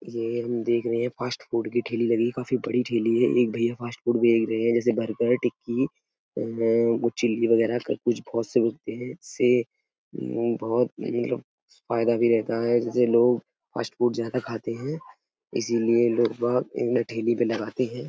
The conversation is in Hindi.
ये हम देख रहे हैं फ़ास्ट फ़ूड की ठेली लगी है। काफी बड़ी ठेली है। एक भैया फ़ास्ट फ़ूड बेच रहे हैं जैसे बर्गर टिक्की अ अम चिल्ली वगेरा कुछ बहोत से मिलते है इस से अम बहुत मतलब फ़ायदा भी रहता है जिससे लोग फ़ास्ट फ़ूड ज्यादा खाते हैं इसीलिए लोग बाहर इनमे ठेली पे लगाते हैं।